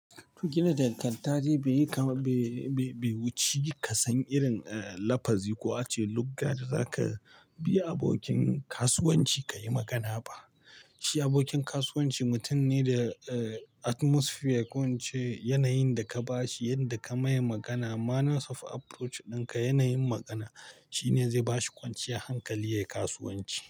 Gidan danganta dai bai yi kam-- bai, bai, bai wuci ka san irin, eh, lafazi ko ace lugga da za ka bi abokin kasuwanci ka yi magana ba. Shi abokin kasuwanci mutum ne da, eh, atmosphere ko ince yanayin da ka ba shi, yadda ka mai magana, manners of approach ɗinka, yanayin magana shine zai bashi kwanciyar hankali yayi kasuwanci.